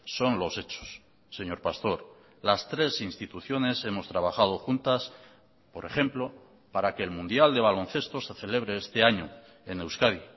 son los hechos señor pastor las tres instituciones hemos trabajado juntas por ejemplo para que el mundial de baloncesto se celebre este año en euskadi